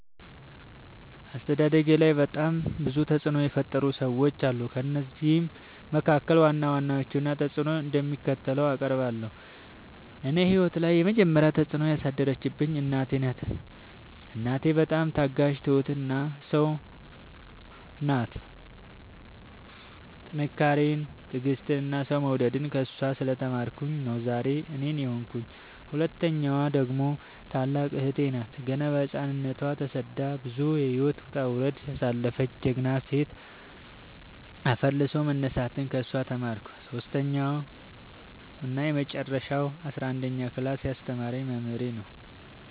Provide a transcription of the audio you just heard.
አስተዳደጌላይ በጣም ብዙ ተፅዕኖ የፈጠሩ ሰዎች አሉ። ከእነሱም መካከል ዋና ዋናዎቹን እና ተፅዕኖቸው እንደሚከተለው አቀርባለሁ። እኔ ህይወት ላይ የመጀመሪ ተፅዕኖ ያሳደረችብኝ እናቴ ናት። እናቴ በጣም ታጋሽ እና ትሁት ሰው ናት ጥንካሬን ትዕግስትን እና ሰው መውደድን ከእሷ ስለ ተማርኩኝ ነው ዛሬ እኔን የሆንኩት። ሁለተኛዋ ደግሞ ታላቅ እህቴ ናት ገና በህፃንነቶ ተሰዳ ብዙ የህይወት ወጣውረድ ያሳለፈች ጀግና ሴት አፈር ልሶ መነሳትን ከሷ ተምሬለሁ። ሰሶስተኛው እና የመጀረሻው አስረአንደኛ ክላስ ያስተማረኝ መምህሬ ነው።